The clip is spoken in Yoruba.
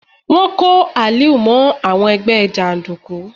Wọ́n kó Aliu mọ́ àwọn ẹgbẹ́ jàndùkú.